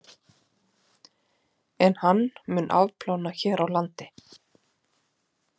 En mun hann afplána hér á landi?